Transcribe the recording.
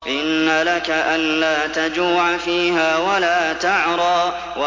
إِنَّ لَكَ أَلَّا تَجُوعَ فِيهَا وَلَا تَعْرَىٰ